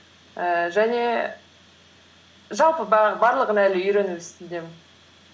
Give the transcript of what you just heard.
ііі және жалпы барлығын әлі үйрену үстіндемін